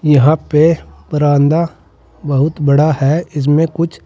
यहां पे बरांदा बहुत बड़ा है इसमें कुछ--